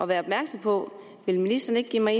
være opmærksom på vil ministeren ikke give mig